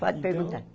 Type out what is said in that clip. Pode Então Perguntar.